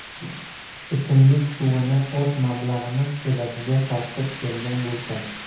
Ichimlik suvini o‘z mablag‘imiz evaziga tortib kelgan bo‘lsak.